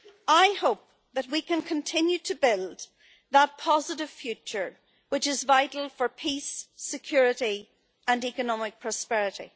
I hope that we can continue to build that positive future which is vital for peace, security and economic prosperity.